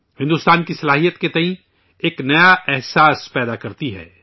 بھارت کی طاقت کے تئیں ایک نیا اعتماد پیدا کرتی ہے